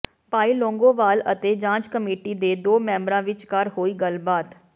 ਭਾਈ ਲੌਂਗੋਵਾਲ ਅਤੇ ਜਾਂਚ ਕਮੇਟੀ ਦੇ ਦੋ ਮੈਂਬਰਾਂ ਵਿਚਕਾਰ ਹੋਈ ਗੱਲਬਾਤ